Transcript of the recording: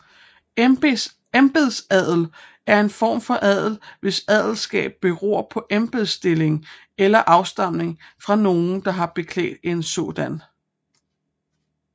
Embedsadel er en form for adel hvis adelskab beror på embedsstilling eller afstamning fra nogen der har beklædt en sådan